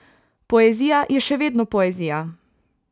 Poezija je še vedno poezija.